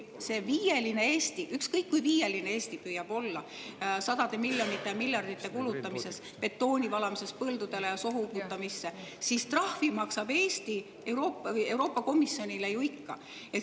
Ehk ükskõik kui viieline Eesti püüab olla sadade miljonite ja miljardite kulutamises, betooni valamises põldudele ja sohu uputamisse, trahvi maksab ta Euroopa Komisjonile ju ikka.